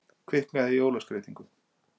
Kviknaði í jólaskreytingu